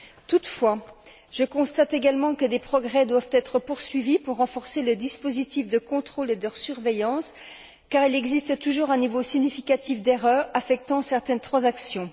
Toutefois, je constate également que des progrès doivent encore être accomplis pour renforcer le dispositif de contrôle et de surveillance, car il existe toujours un niveau significatif d'erreurs affectant certaines transactions.